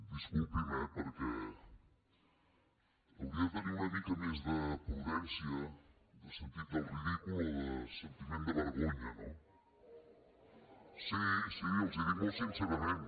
disculpi’m eh perquè hauria de tenir una mica més de prudència de sentit del ridícul o de sentiment de vergonya no sí sí els ho dic molt sincerament